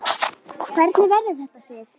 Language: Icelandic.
Hvernig verður þetta, Sif?